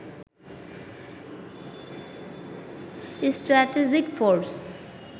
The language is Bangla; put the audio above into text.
strategic force